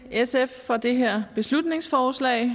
sf for det her beslutningsforslag